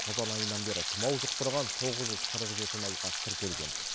қазан айынан бері тымау жұқтырған тоғыз жүз қырық жеті науқас тіркелген